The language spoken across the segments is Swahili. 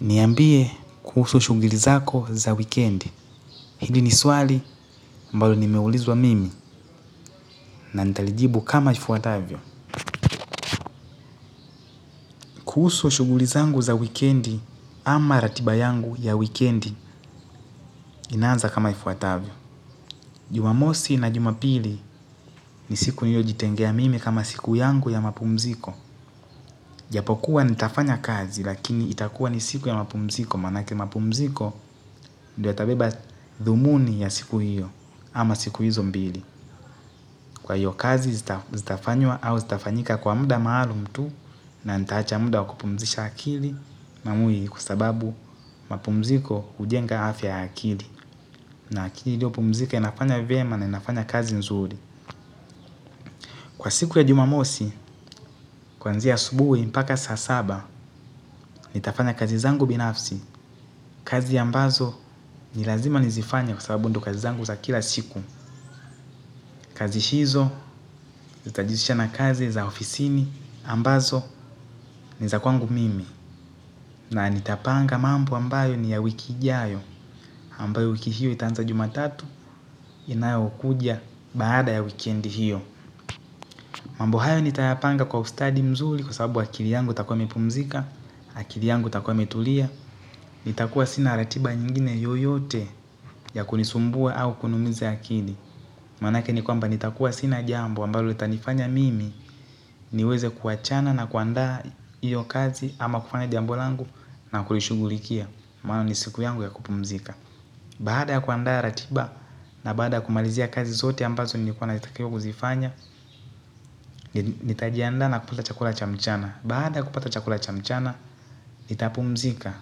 Niambie kuhusu shuguli zako za wikendi. Hili ni swali ambalo nimeulizwa mimi na nitalijibu kama ifuatavyo. Kuhusu shuguli zangu za wikendi ama ratiba yangu ya wikendi inanza kama ifuatavyo. Jumamosi na jumapili ni siku niliojitengea mimi kama siku yangu ya mapumziko. Japo kuwa nitafanya kazi lakini itakuwa ni siku ya mapumziko. Manake mapumziko ndio itabeba dhumuni ya siku hiyo. Ama siku hizo mbili. Kwa hiyo kazi zitafanywa au zitafanyika kwa muda maalum tu. Na nitaacha muda wa kupumzisha akili Mamuhi kwa sababu mapumziko hujenga afya ya akili. Na akili iliopumzika inafanya vyema na inafanya kazi nzuri. Kwa siku ya jumamosi, kuanzia asubuhi mpaka saa saba nitafanya kazi zangu binafsi. Kazi ambazo ni lazima nizifanya kwa sababu ndo kazi zangu za kila siku. Kazi hizo, zitajizisha na kazi za ofisini ambazo ni za kwangu mimi. Na nitapanga mambo ambayo ni ya wiki ijayo ambayo wiki hiyo itanza jumatatu inayokuja baada ya wikendi hiyo. Mambo hayo nitayapanga kwa ustadi mzuri kwa sababu akili yangu itakuwa imepumzika. Akili yangu itakuwa imetulia. Nitakuwa sina ratiba nyingine yoyote ya kunisumbua au kuniumiza akili. Manake ni kwamba nitakuwa sina jambo ambalo litanifanya mimi niweze kuachana na kuandaa iyo kazi ama kufanya jambo langu na kulishugulikia. Maana ni siku yangu ya kupumzika. Baada ya kuandaa ratiba na baada ya kumalizia kazi zote ambazo ni kwamba nilitakiwa kuzifanya. Nitajianda na kupata chakula cha mchana. Baada ya kupata chakula cha mchana nitapumzika.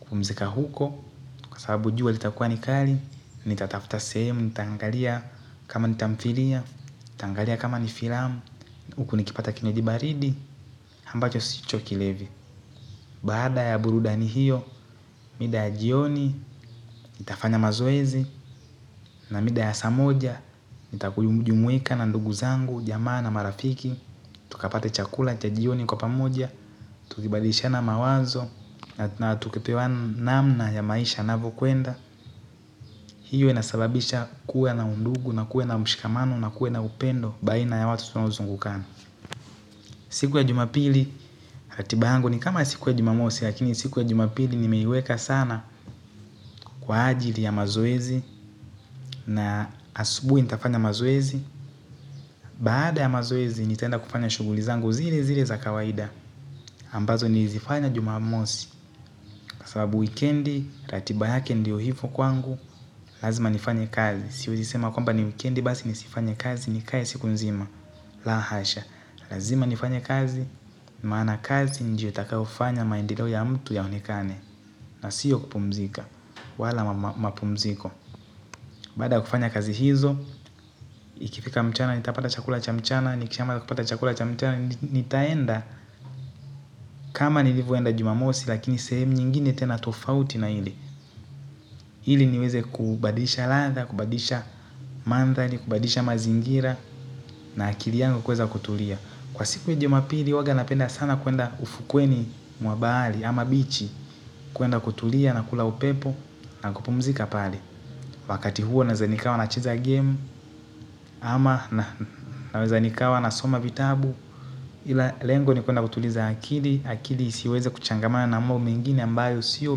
Kupumzika huko kwa sababu jua litakuwa ni kali. Nitatafta sehemu, nitaangalia kama nitamfilia, nitaangalia kama nifilamu huku nikipata kinywaji baridi, ambacho sicho kilevi. Baada ya burudani hiyo, mida ya jioni, nitafanya mazoezi na mida ya saa moja nitajumuika na ndugu zangu jamaa na marafiki. Tukapate chakula cha jioni kwa pamoja, tukibadishana mawazo. Na tukipewa namna ya maisha yanavyokuenda. Hiyo inasababisha kuwa na undugu na kuwe na mshikamano na kuwe na upendo baina ya watu tunaozungukana. Siku ya jumapili ratiba yangu ni kama ya siku ya jumamosi lakini siku ya jumapili nimeiweka sana kwa ajili ya mazoezi. Na asubuhi nitafanya mazoezi. Baada ya mazoezi nitaenda kufanya shughuli zangu zile zile za kawaida. Ambazo nilizifanya jumamosi kwa sababu wikendi ratiba yake ndio hivo kwangu. Lazima nifanye kazi. Siwezi sema kwamba ni wikendi basi nisifanye kazi nikae siku nzima. La hasha. Lazima nifanye kazi maana kazi ndio itakayofanya maendeleo ya mtu yaonekane. Na sio kupumzika. Wala mapumziko. Baada ya kufanya kazi hizo. Ikifika mchana nitapata chakula cha mchana. Nikishama kupata chakula cha mchana nitaenda kama nilivyoenda jumamosi lakini sehemu nyingine tena tofauti na hili. Ili niweze kubadilisha ladha, kubadilisha mandhari, kubadilisha mazingira. Na akili yangu kuweza kutulia. Kwa siku ya jumapili huwanga napenda sana kuenda ufukweni mwa bahari ama bichi. Kuenda kutulia na kula upepo na kupumzika pale. Wakati huo naweza nikawa nacheza game ama naweza nikawa nasoma vitabu. Ila lengo ni kuenda kutuliza akili. Akili isiweze kuchangamana na mambo mengine ambayo sio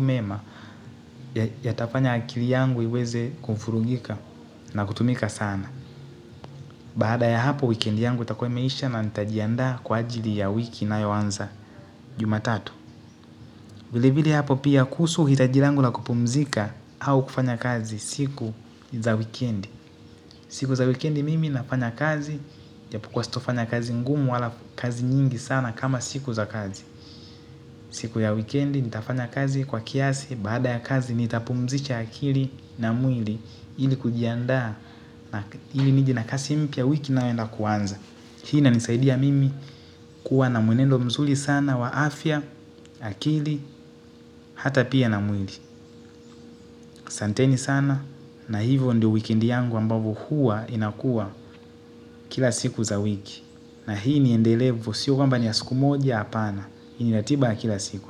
mema. Yatafanya akili yangu iweze kufurugika na kutumika sana. Baada ya hapo weekend yangu itakuwa imeisha na nitajiandaa kwa ajili ya wiki inayoanza jumatatu. Vile vile hapo pia kuhusu hitaji langu la kupumzika au kufanya kazi siku za wikendi. Siku za wikendi mimi nafanya kazi japokuwa sitofanya kazi ngumu wala kazi nyingi sana kama siku za kazi. Siku ya wikendi nitafanya kazi kwa kiasi baada ya kazi nitapumzisha akili na mwili ili kujiandaa na ili nije na kasi mpya wiki inayoenda kuanza. Hii inanisaidia mimi kuwa na mwenendo mzuri sana wa afya, akili, hata pia na mwili. Asanteni sana na hivyo ndio wikendi yangu ambavyo huwa inakua kila siku za wiki. Na hii ni endelevu, sio kwamba ni ya siku moja, hapana. Hii ni ratiba ya kila siku asa.